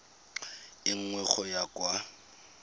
e nngwe go ya kwa